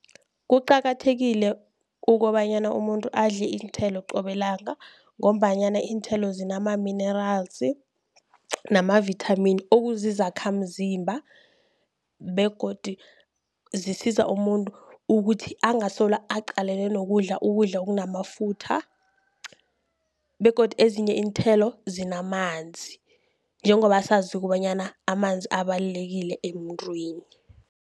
Kuqakathekile kobanyana umuntu adle iinthelo qobe langa, ngombanyana iinthelo zinama-minerals namavithamini okuzizakhamzimba, begodu zisiza umuntu ukuthi angasolo aqalene nokudla ukudla okunamafutha. Begodu ezinye iinthelo zinamanzi njengoba sazi kobanyana amanzi abalulekile emuntwini.